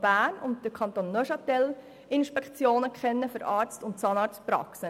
Bern und Neuenburg kennen Inspektionen für Arzt- und Zahnarztpraxen.